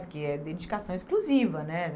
Porque é dedicação exclusiva, né?